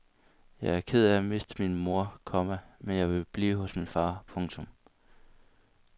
Jeg var ked af at miste min mor, komma men jeg ville blive hos min far. punktum